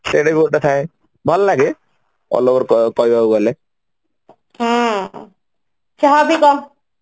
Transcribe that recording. ସେଇଟା ବି ଗୋଟେ ଥାଏ ଭଲ ଲାଗେ କହିବାକୁ ଗଲେ ହୁଁ ଯାହାବି କହ